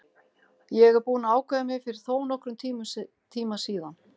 Ég er búinn að ákveða mig fyrir þónokkrum tíma síðan.